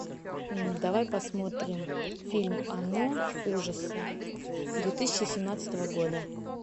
давай посмотрим фильм оно ужасы две тысячи семнадцатого года